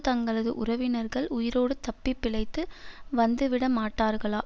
தங்களது உறவினர்கள் உயிரோடு தப்பி பிழைத்து வந்துவிடமாட்டார்களா